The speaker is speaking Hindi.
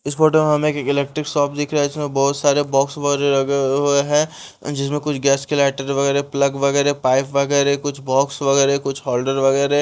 इस फोटो में हमें एक इलेक्ट्रिक शॉप दिख रहा है इसमें बहुत सारे बॉक्स वगैरह लगे हुए हैं जिसमें कुछ गैस के लाइटर वगैरह प्लग वगैरह पाइप वगैरह कुछ बॉक्स वगैरह कुछ होल्डर वगैरह --